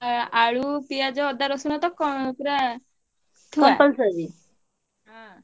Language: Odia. ଆଁ ଆଳୁ, ପିଆଜ, ଅଦା, ରସୁଣ ତ କ ପୁରା ଥୁଆ ହଁ।